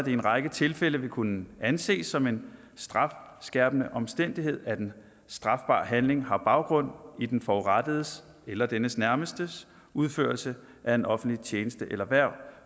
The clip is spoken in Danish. i en række tilfælde vil kunne anses som en strafskærpende omstændighed at en strafbar handling har baggrund i den forurettedes eller dennes nærmestes udførelse af en offentlig tjeneste eller hverv